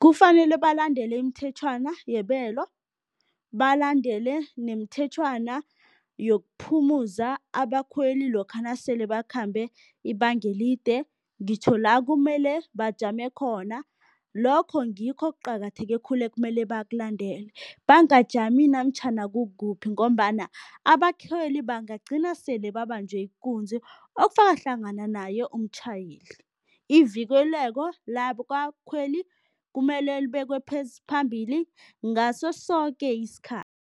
Kufanele balandele imithetjhwana yebelo, balandele nemithetjhwana yokuphumuza abakhweli lokha nasele bakhambe ibanga elide ngitjho la kumele bajame khona, lokho ngikho okuqakatheke khulu ekumele bakulandele. Bangajami namtjhana kukuphi ngombana abakhweli bangagcina sele babanjwe ikunzi, okufaka hlangana naye umtjhayeli. Ivikeleko labakhweli kumele libekwe phambili ngaso soke isikhathi.